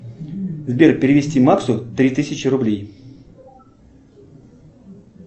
сбер перевести максу три тысячи рублей